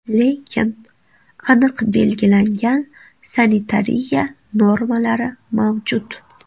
Lekin aniq belgilangan sanitariya normalari mavjud.